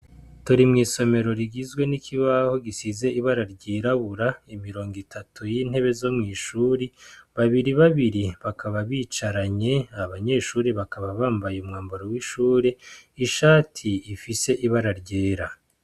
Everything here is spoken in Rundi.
Turi mw'isomero rigizwe n'ikibaho gisize ibara ry'irabura imirongo itatu y'intebe zo mw'ishuri babiri babiri bakaba bicaranye abanyeshure bakaba bambaye umwambaro w'ishure ishati ifise ibara ryera.